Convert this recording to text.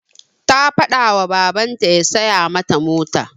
Ta faɗa ma babanta ya siya mata mota.